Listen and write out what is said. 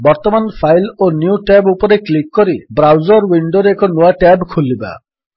ବର୍ତ୍ତମାନ ଫାଇଲ୍ ଓ new tab ଉପରେ କ୍ଲିକ୍ କରି ବ୍ରାଉଜର୍ ୱିଣ୍ଡୋରେ ଏକ ନୂଆ ଟ୍ୟାବ୍ ଖୋଲିବା